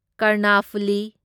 Karnaphuli